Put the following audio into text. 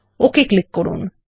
okay click করুন